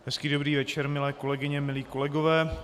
Hezký dobrý večer milé kolegyně, milí kolegové.